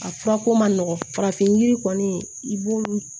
A furako man nɔgɔ farafin yiri kɔni i b'olu